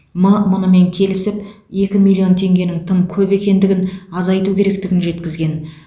м мұнымен келісіп екі миллион теңгенің тым көп екендігін азайту керектігін жеткізген